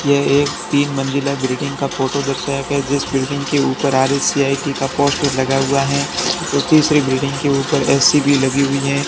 यह एक तीन मंजिला बिल्डिंग का फोटो दर्शाया गया है जिस बिल्डिंग के ऊपर आर_ए_सी_आई_टी का पोस्टर लगा हुआ है और तीसरी बिल्डिंग के ऊपर ए_सी भी लगी हुई है।